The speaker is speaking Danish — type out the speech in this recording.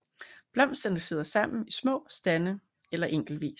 Blomsterne sidder sammen i små stande eller enkeltvis